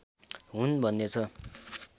हुन् भन्ने छ